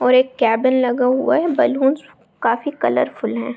और एक केबिन लगा हुआ है बेलूंस काफी कलरफुल हैं।